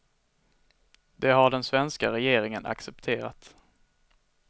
Det har den svenska regeringen accepterat.